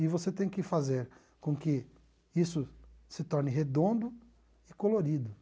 E você tem que fazer com que isso se torne redondo e colorido.